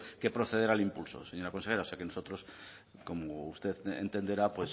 que proceder al impulso señora consejera o sea que nosotros como usted entenderá